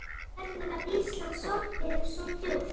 Hvernig gat Ísland sokkið svo djúpt?